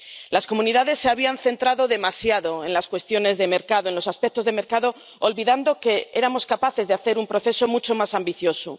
Las comunidades se habían centrado demasiado en las cuestiones de mercado, en los aspectos de mercado, olvidando que éramos capaces de hacer un proceso mucho más ambicioso.